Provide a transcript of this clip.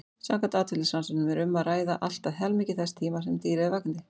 Samkvæmt atferlisrannsóknum er um að ræða allt að helmingi þess tíma sem dýrið er vakandi.